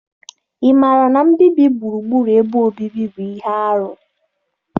Ị maara na mbibi gburugburu ebe obibi bụ ihe arụ?